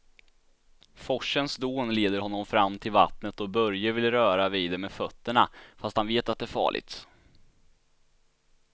Forsens dån leder honom fram till vattnet och Börje vill röra vid det med fötterna, fast han vet att det är farligt.